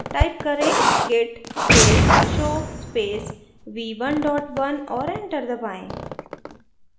type करें: git space show space v11 और enter दबाएँ